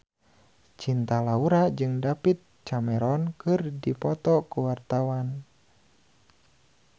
Cinta Laura jeung David Cameron keur dipoto ku wartawan